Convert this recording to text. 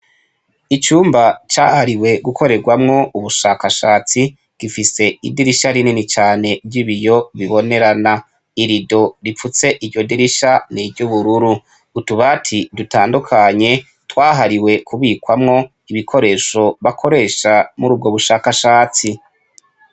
Icumba cahariwe gukoregwamwo ubushakashatsi gifise idirisha rinini cane ry'ibiyo bibonerana irido ripfutse iryo dirisha n'iry'ubururu utabati dutandukanye twahariwe kubikwamwo ibikoresho bakoresha murubwo bushakashatsi.